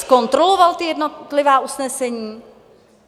Zkontroloval ta jednotlivá usnesení?